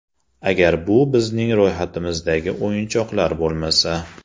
Agar bu bizning ro‘yxatimizdagi o‘yinchoqlar bo‘lmasa.